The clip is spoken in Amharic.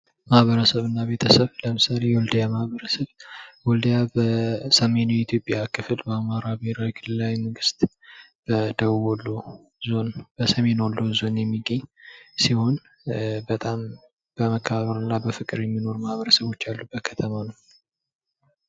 ማህበረሰብና ቤተሰብ ለምሳሌ የወልዲያ ማህበረሰብ ወልዲያ በሰሜን ኢትዮጵያ ክፍል በአማራ ብሔራዊ ክልላዊ መንግስት በደቡብ ወሎ ዞን በሰሜን ወሎ ዞን የሚገኝ ሲሆን በጣም በመከባበርና እና በፍቅር የሚኖር ማህበረሰቦች ያሉበት ከተማ ነው።